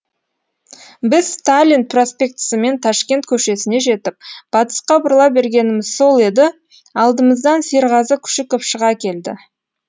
біз сталин проспектісімен ташкент көшесіне жетіп батысқа бұрыла бергеніміз сол еді алдымыздан серғазы күшіков шыға келді